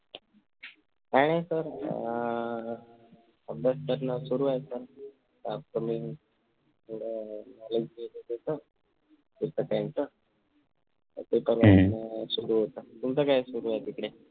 काय नाही sir अह अभ्यास करणे सुरु आहे तुमच काय सुरु आहे तिकडे?